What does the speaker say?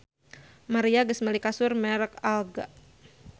Maria geus meuli kasur merk Alga